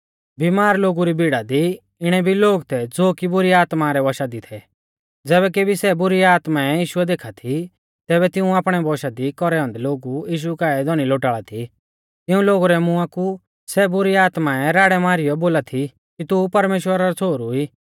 बीमार लोगु री भीड़ा दी इणै भी लोग थै ज़ो कि बुरी आत्मा रै वंशा दी थै ज़ैबै केभी सै बुरी आत्माऐं यीशु देखा थी तैबै तिऊं आपणै वंशा दी कौरै औन्दै लोग यीशु काऐ धौनी लोटाल़ा थी तिऊं लोगु रै मुंआ कु सै बुरी आत्माऐं राड़ै मारीयौ बोला थी कि तू परमेश्‍वरा रौ छ़ोहरु ई